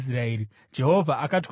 Jehovha akati kuna Mozisi,